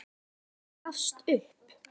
Borgin gafst upp.